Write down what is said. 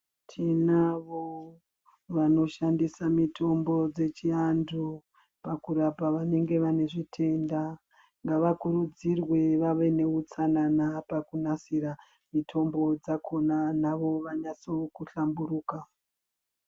Tinavo vanoshandise mitombo dzechianthu pakurapa vanenge vane zvitenda, ngava kurudzirwe vave neutsanana pakunasira mitombo dzakhona navoo vanasewo kuhlamburuka.